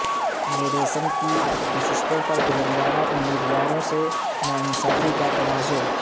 medicine کی نشستوں پر تلنگانہ امیدواروں سے ناانصافی کا تنازعہ